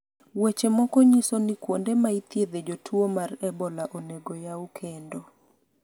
weche moko nyisoni kuonde ma ithiedhe jotuo mar ebola onego oyaw kendo